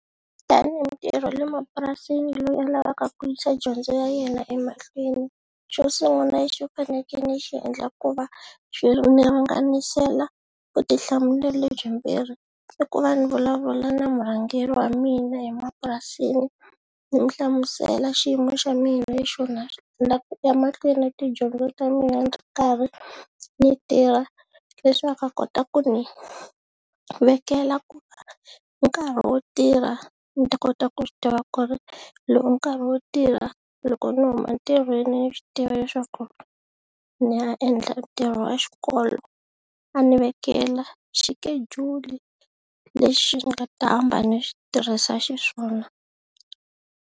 Tanihi mutirhi wa le mapurasini loyi a lavaka ku yisa dyondzo ya yena emahlweni, xo sungula lexi u fanekele xi endla ku va vutihlamuleri lebyi mbirhi i ku ni vulavula na murhangeri wa mina emapurasini ni mu hlamusela xiyimo xa mina ni la ku ya mahlweni na tidyondzo ta mina ndzi ri karhi ni tirha leswaku a kota ku ni vekela ku nkarhi wo tirha ni ta kota ku swi tiva ku ri lowu i nkarhi wo tirha loko ni huma ntirhweni ni swi tiva leswaku ni ya endla ntirho wa xikolo a ni vekela xikejuli lexi nga ta hamba ni xi tirhisa xiswona.